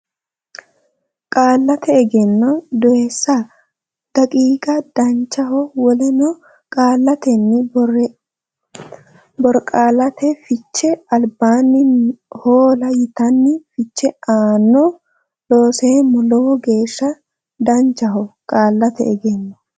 Qaallate Egenno Doyissa daqiiqa Danchaho wolena Qaallannita Borqaallate Fiche Albinni hoola yitanno fiche aanno Looseemmo Lowo geeshsha danchaho Qaallate Egenno.